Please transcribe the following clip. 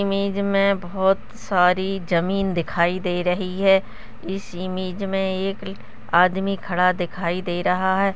Image में बहोत सारी जमीन दिखाई दे रही है इस इमेज में एक आदमी खड़ा दिखाई दे रहा है।